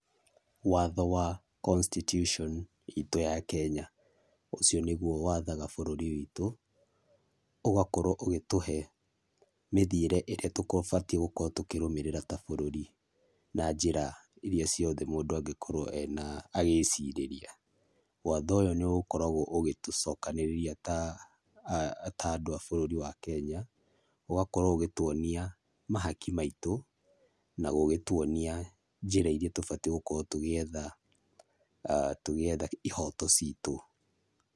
Watho wa constitution itũ ya Kenya, ũcio nĩguo wathaga bũrũri witũ, ũgakorwo ũgĩtũhe mĩthiĩre ĩrĩa tũbatie gũkorwo tũkĩrũmĩrĩra ta bũrũri, na njĩra iria ciothe mũndũ angĩkorwo agĩcirĩria. Watho ũyũ nĩ ũkoragwo ũgĩtũcokanĩrĩria ta andũ a bũrũri wa Kenya. Ũgagĩkorwo ũgĩtuonia mahaki maitũ, na gũgĩgĩtuonia njĩra iria tũbatie gũkorwo tũgĩetha ihoto citũ